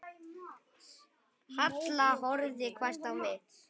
Halla horfði hvasst á mig.